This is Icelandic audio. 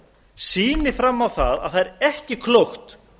sýni fram á það að það er ekki klókt